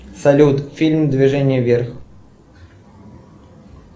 салют фильм движение вверх